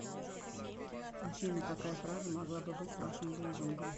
афина какая фраза могла бы быть вашим лозунгом